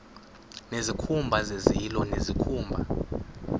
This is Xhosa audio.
nezikhumba zezilo nezikhumba